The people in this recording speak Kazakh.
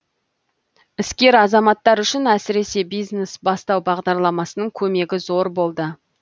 іскер азаматтар үшін әсіресе бизнес бастау бағдарламасының көмегі зор болды